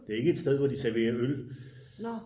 Det er ikke et sted hvor de serverer øl